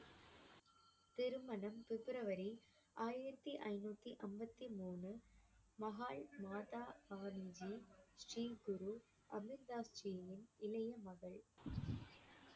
திருமணம் பிப்ரவரி ஆயிரத்தி ஐநூத்தி ஐம்பத்தி மூன்று மஹால் மாதா ஸ்ரீ குரு அமர் தாஸ் ஜியின் இளைய மகள்